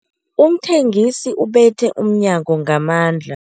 Umthengisi ubethe umnyango ngamandla.